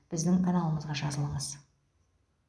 біздің каналымызға жазылыңыз